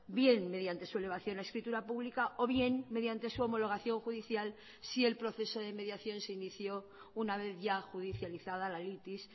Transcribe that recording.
bien mediante su elevación a escritura pública o bien mediante su homologación judicial si el proceso de mediación se inició una vez ya judicializada la litis